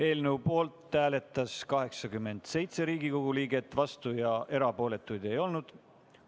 Eelnõu poolt hääletas 87 Riigikogu liiget, vastuolijaid ja erapooletuid ei olnud.